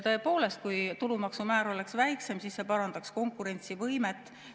Tõepoolest, kui tulumaksumäär oleks väiksem, siis see parandaks konkurentsivõimet.